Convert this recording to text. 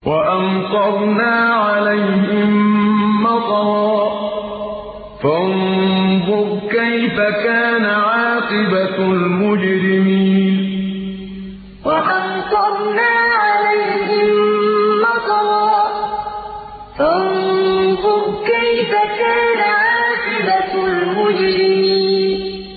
وَأَمْطَرْنَا عَلَيْهِم مَّطَرًا ۖ فَانظُرْ كَيْفَ كَانَ عَاقِبَةُ الْمُجْرِمِينَ وَأَمْطَرْنَا عَلَيْهِم مَّطَرًا ۖ فَانظُرْ كَيْفَ كَانَ عَاقِبَةُ الْمُجْرِمِينَ